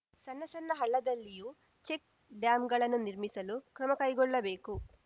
ಸಣ್ಣ ಸಣ್ಣ ಹಳ್ಳದಲ್ಲಿಯೂ ಚೆಕ್‌ ಡ್ಯಾಂಗಳನ್ನು ನಿರ್ಮಿಸಲು ಕ್ರಮ ಕೈಗೊಳ್ಳಬೇಕು